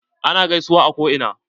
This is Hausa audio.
Ana gaisuwan a ko ina.